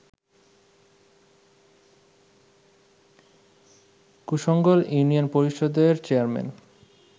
Kushangal union পরিষদের chairman